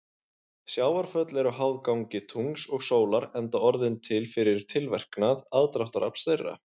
Sjávarföll eru háð gangi tungls og sólar enda orðin til fyrir tilverknað aðdráttarafls þeirra.